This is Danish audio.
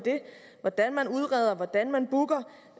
hvordan man udreder hvordan man booker